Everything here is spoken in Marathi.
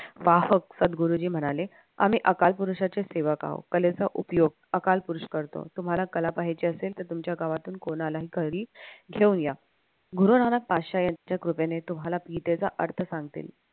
पाहक सदगुरुजी म्हणाले आम्ही अकालपुरुषाचे सेवक आहोत कलेचा उपयोग अकालपुरुष करतो तुम्हाला कला पाहायची असेल तर तुमच्या गावातून कोणाला तरी घेऊन या गुरुनानक यांच्या कृपेने तुम्हाला अर्थ सांगतील